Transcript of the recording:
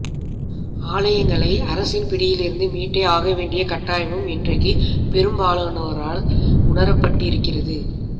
ஆலயங்களை அரசின் பிடியிலிருந்து மீட்டே ஆகவேண்டிய கட்டாயமும் இன்றைக்குப் பெரும்பாலோரால் உணரப்பட்டிருக்கிறது